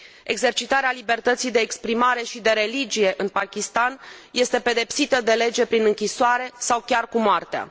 Exercitarea libertății de exprimare și de religie în Pakistan este pedepsită de lege prin închisoare sau chiar cu moartea.